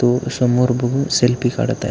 तो समोर बघून सेल्फी काढत आहे.